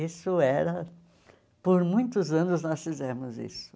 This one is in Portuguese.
Isso era... Por muitos anos nós fizemos isso.